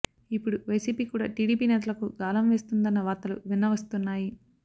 ఇప్పుడు వైసీపీ కూడా టీడీపీ నేతలకు గాలం వేస్తుందన్న వార్తలు వినవస్తున్నాయి